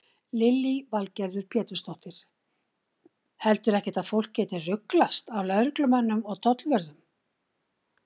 Lillý Valgerður Pétursdóttir: Heldurðu ekkert að fólk geti ruglast á lögreglumönnum og tollvörðum?